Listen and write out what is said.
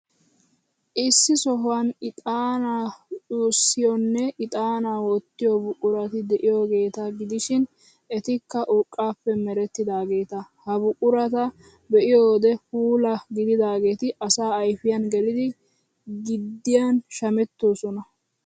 Issi sohuwan ixaanaa cuwayssiyoonne ixaanaa wottiyoo buqurati de'iyaageeta gidishin, etikka urqqaappe merettidaageeta. Ha buqurata be'iyo wode puula gididaageeti asaa ayfiyan gelidi giddiyan shamettoosona.